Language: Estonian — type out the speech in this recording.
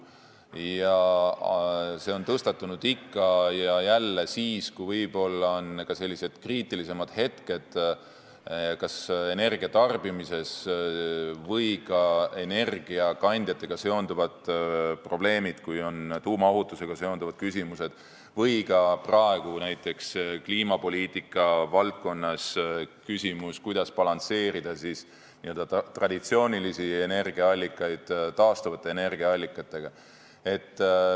See on tõstatunud ikka ja jälle siis, kui on kriitilisemad hetked energiatarbimises, energiakandjatega seonduvad probleemid, tuumaohutusega seonduvad küsimused või nagu praegu on näiteks kliimapoliitika valdkonnas küsimus, kuidas balansseerida traditsioonilisi energiaallikaid taastuvate energiaallikatega.